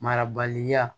Marabaliya